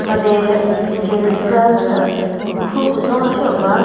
made uphiche sü khu kuzo ra sheo ba.